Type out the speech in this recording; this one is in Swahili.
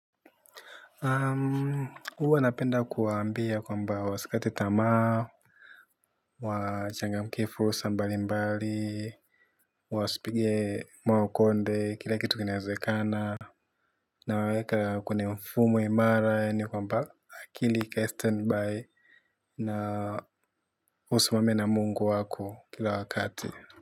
Huwa napenda kuwaambia kwamba wasikati tamaa, wachangamkie fursa mbalimbali, wasipige maokonde, kila kitu kinawezekana, nawaweka kwenye mfumu imara yani kwamba akili ikae stand by na usimame na mungu wako kila wakati.